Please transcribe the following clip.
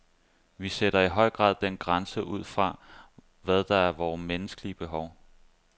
Vi sætter i høj grad den grænse ud fra, hvad der er vore menneskelige behov.